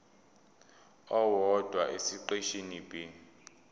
owodwa esiqeshini b